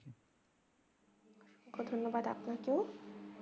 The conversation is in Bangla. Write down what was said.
অসংখ্য ধন্যবাদ আপনাকেও